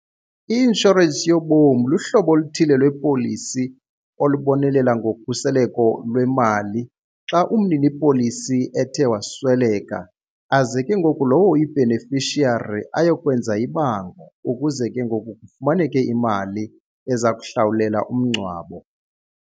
I-inshorensi yobomi luhlobo oluthile lwepolisi olubonelela ngokhuseleko lwemali xa umninipolisi ethe wasweleka aze ke ngoku lowo uyi-beneficiary ayokwenza ibango ukuze ke ngoku kufumaneke imali eza kuhlawulela umngcwabo.